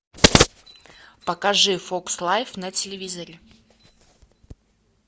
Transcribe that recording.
покажи фокс лайф на телевизоре